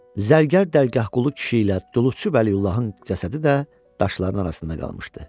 Zərgər Dərgahqulu kişi ilə Duluçu Vəliullahın cəsədi də daşların arasında qalmışdı.